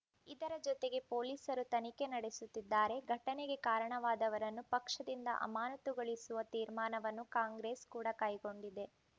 ಇದರ ಜೊತೆಗೆ ಪೊಲೀಸರೂ ತನಿಖೆ ನಡೆಸುತ್ತಿದ್ದಾರೆ ಘಟನೆಗೆ ಕಾರಣವಾದವರನ್ನು ಪಕ್ಷದಿಂದ ಅಮಾನತುಗೊಳಿಸುವ ತೀರ್ಮಾನವನ್ನು ಕಾಂಗ್ರೆಸ್‌ ಕೂಡ ಕೈಗೊಂಡಿದೆ